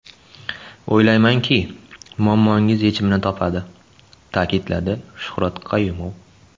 O‘ylaymanki, muammoingiz yechimini topadi”, ta’kidladi Shuhrat Qayumov.